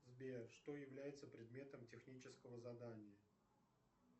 сбер что является предметом технического задания